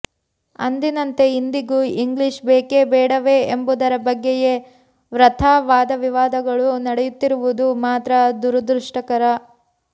ಅಂದಿನಂತೆ ಇಂದಿಗೂ ಇಂಗ್ಲಿಷ್ ಬೇಕೆ ಬೇಡವೇ ಎಂಬುದರ ಬಗ್ಗೆಯೇ ವೃಥಾ ವಾದವಿವಾದಗಳು ನಡೆಯುತ್ತಿರುವುದು ಮಾತ್ರ ದುರದೃಷ್ಟಕರ